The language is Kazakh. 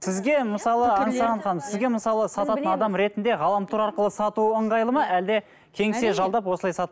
сізге мысалы аңсаған ханым сізге мысалы сататын адам ретінде ғаламтор арқылы сату ыңғайлы ма әлде кеңсе жалдап осылай